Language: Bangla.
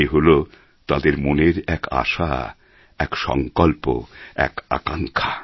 এ হল তাঁদের মনের এক আশা এক সংকল্প এক আকাঙ্ক্ষা